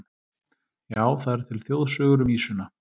Já, það eru til þjóðsögur um ýsuna.